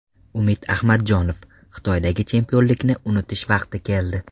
Umid Ahmadjonov: Xitoydagi chempionlikni unutish vaqti keldi.